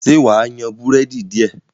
ṣe wá yan Búrẹ́dì diẹ?